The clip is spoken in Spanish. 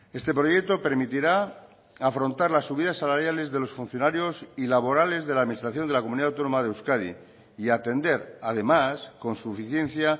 este proyecto permitirá afrontar las subidas salariales de los funcionarios y laborales de la administración de la comunidad autónoma de euskadi y atender además con suficiencia